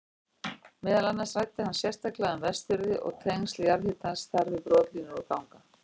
Meðal annars ræddi hann sérstaklega um Vestfirði og tengsl jarðhitans þar við brotlínur og ganga.